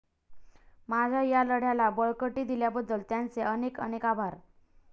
माझ्या या लढ्याला बळकटी दिल्याबद्दल त्यांचे अनेक अनेक आभार